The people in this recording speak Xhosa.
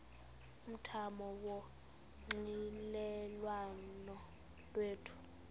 umthamo wonxielelwano lwethu